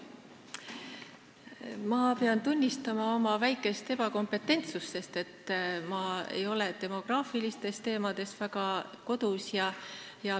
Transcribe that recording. Ma pean tunnistama, et olen pisut ebakompetentne, sest ma ei ole demograafilistes teemades väga kodus.